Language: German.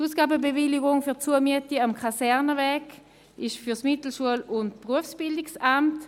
Die Ausgabenbewilligung für die Zumiete am Kasernenweg ist für das Mittelschul- und Berufsbildungsamt (MBA).